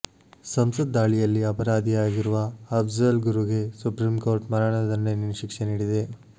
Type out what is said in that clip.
ಸಂಸತ್ ದಾಳಿಯಲ್ಲಿ ಅಪರಾಧಿಯಾಗಿರುವ ಅಫ್ಜಲ್ ಗುರುಗೆ ಸುಪ್ರಿಂಕೋರ್ಟ್ ಮರಣದಂಡನೆ ಶಿಕ್ಷೆ ನೀಡಿದೆ